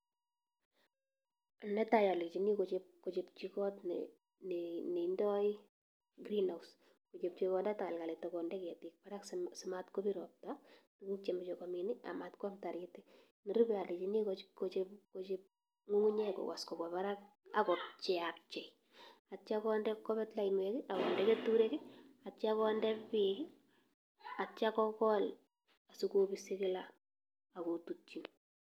Netai olenyini kochobchi kot neindo green house (cd)kochomchii kondaq takalkalit ako konde ketik barak simar kobir roptaa tuguuk chemoche komiin i.Amatkwam taritik, nerube alenyiini kochob ngungunyek kowos kobwa barak ak kopcheiapchei. Ak yeityo kobet lainwek i,akonde keturek ak yeityoo konde beek. Ak yeityoo kogool asikobisi kila akotutyiinn